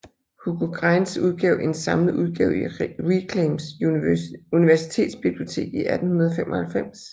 Hugo Greinz udgav en samlet udgave i Reclams universitetsbibliotek 1895